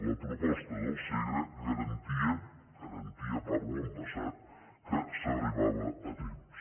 la proposta del segre garantia parlo en passat que s’arribava a temps